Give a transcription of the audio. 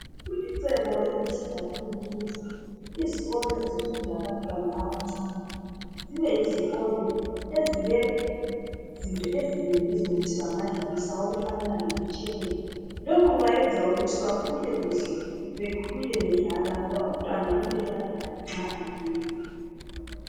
Kulicebo elihle kakhulu ukuthi izikolo ezifunda abantwana abancani .Zibeyizikolo ezilezinto ezinengi ezokuthi bangadlalisa okufanana lemitshelelo. Lokhu kubayenza ukuthi bakhule kuhle ,bekhule bedlala ngoba umntwana kumele adlale nxa ekhula.